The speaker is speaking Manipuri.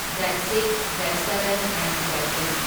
Date six, date seven and date eight.